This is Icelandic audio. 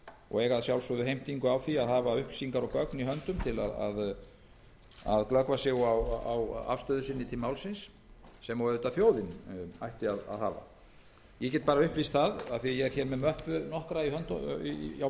og eiga að sjálfsögðu heimtingu á því að hafa upplýsingar og gögn í höndum til að glöggva sig á afstöðu sinni til málsins sem og auðvitað þjóðin ætti að hafa ég get upplýst af því að ég er hér með möppu nokkra á